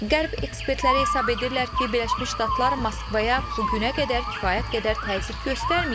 Qərb ekspertləri hesab edirlər ki, Birləşmiş Ştatlar Moskvaya bu günə qədər kifayət qədər təzyiq göstərməyib.